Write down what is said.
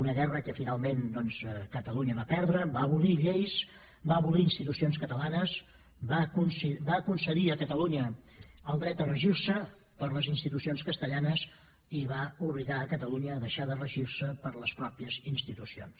una guerra que finalment doncs catalunya va perdre va abolir lleis va abolir institucions catalanes va concedir a catalunya el dret de regir se per les institucions castellanes i que va obligar a catalunya a deixar de regir se per les pròpies institucions